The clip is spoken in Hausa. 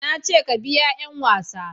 na ce ka biya 'yan wasa